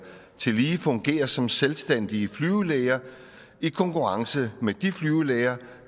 tillige fungerer som selvstændige flyvelæger i konkurrence med de flyvelæger